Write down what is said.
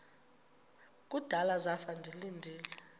kudala zafa ndilinde